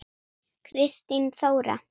Kristín Þóra.